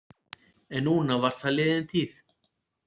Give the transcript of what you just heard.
En núna var það liðin tíð.